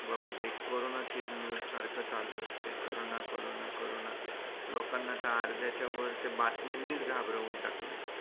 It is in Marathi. बाबा ते corona ची एक news सारख चालू असते. corona, corona, corona लोकांना तर अर्धा च्या वर त्या बातम्यांनी च घाबरवून टाकलं